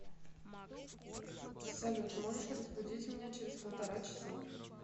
салют можешь разбудить меня через полтора часа